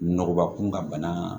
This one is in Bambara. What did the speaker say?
Nɔgɔba kun ka bana